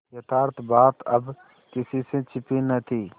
यथार्थ बात अब किसी से छिपी न थी